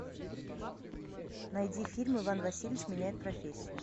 найди фильм иван васильевич меняет профессию